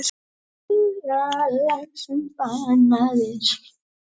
En hefði ekki verið gaman að fara út á land og mæta litlu liði fyrst?